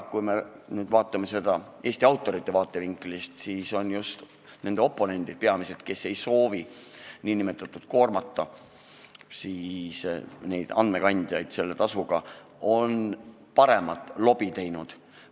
Kui me nüüd aga vaatame seda Eesti autorite vaatevinklist, siis just nende peamised oponendid, kes ei soovi koormata andmekandjaid selle tasuga, on paremat lobi teinud.